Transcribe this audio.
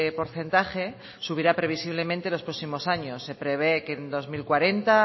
porcentaje subirá previsiblemente los próximos años se prevé que en dos mil cuarenta